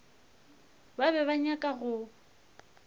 ba be ba nyaka go